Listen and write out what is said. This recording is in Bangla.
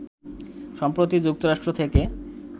সম্প্রতি যুক্তরাষ্ট্র থেকে